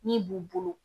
Min b'u bolo